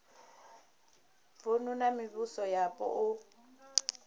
vunu na mivhuso yapo u